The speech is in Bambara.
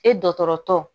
E dɔgɔtɔrɔtɔ